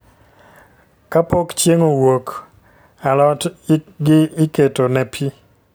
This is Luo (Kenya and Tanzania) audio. Ka pok chieng owuok, a lot gi iketo ne pi